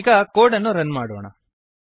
ಈಗ ಕೋಡ್ ಅನ್ನು ರನ್ ಮಾಡೋಣ